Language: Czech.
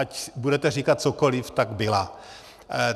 Ať budete říkat cokoliv, tak byla.